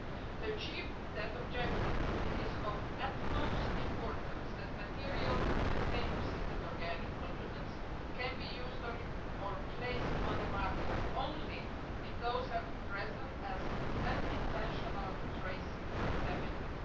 To achieve that objective, it is of utmost importance that materials that contain persistent organic pollutants can be used or placed on the market only if those pollutants are present as unintentional trace contaminants.